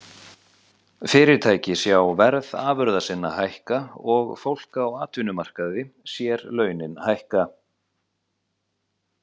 Fyrirtæki sjá verð afurða sinna hækka og fólk á atvinnumarkaði sér launin hækka.